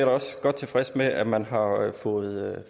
også godt tilfreds med at man har fået